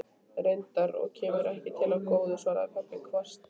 Reyndar, og kemur ekki til af góðu, svaraði pabbi hvasst.